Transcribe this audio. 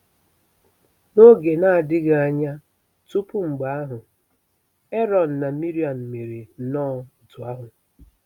N'oge na-adịghị anya tupu mgbe ahụ, Erọn na Miriam mere nnọọ otú ahụ.